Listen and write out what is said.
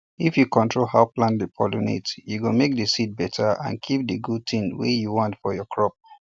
if you control how plant dey pollinate e go make the seed better and keep the good things wey you want for your crop